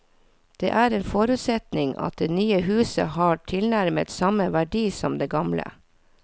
Det er en forutsetning at det nye huset har tilnærmet samme verdi som det gamle.